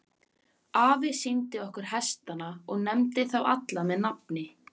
Afi sýndi okkur hestana og nefndi þá alla með nafni.